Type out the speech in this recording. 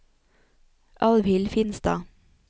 Alvhild Finstad